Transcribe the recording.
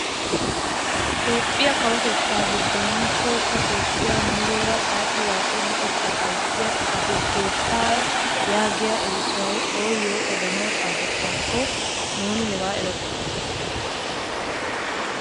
Toophphiyaa kawotettaa giddon tohossa toophphiyaa muleera xaaxi waaxo luxettaa ayssiyaa xifate keettaa yaagiyaa erissoy ooyo odanawu xaafettaakko nuni hegaa erokko!